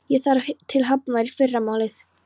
Ég þarf til Hafnar í fyrramálið.